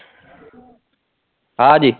ਹਾਂ ਜੀ